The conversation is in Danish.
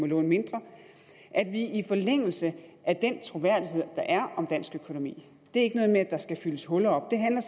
låne mindre i forlængelse af den troværdighed der er om dansk økonomi det er ikke noget med at der skal fyldes huller op det handler